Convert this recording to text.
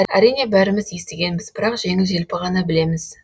әрине бәріміз естігенбіз бірақ жеңіл желпі ғана білеміз